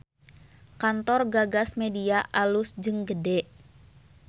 Kantor Gagas Media alus jeung gede